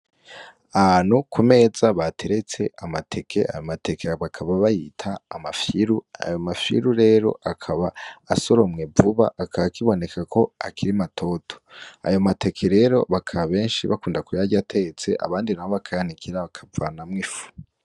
Ano ku meza bateretse amateke ayo mateke bakaba bayita amafilu ayo mafilu rero akaba asoromwe vuba aka kiboneka ko akiri matoto ayo mateke rero bakaba benshi bakunda ku yarya atetse abandi ramwo akayanikira bakavanamwo ifu.